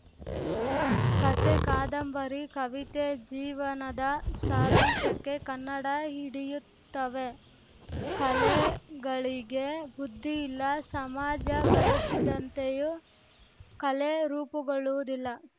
ಕತೆ ಕಾದಂಬರಿ ಕವಿತೆ ಜೀವನದ ಸಾರಾಂಶಕ್ಕೆ ಕನ್ನಡ ಹಿಡಿಯುತ್ತವೆ ಕಲೆಗಳಿಗೆ ಬುದ್ಧಿ ಇಲ್ಲ ಸಮಾಜ ಬಯಸಿದ್ದಂತೆಯೂ ಕಲೆ ರೂಪುಗೊಳ್ಳುವುದಿಲ್ಲ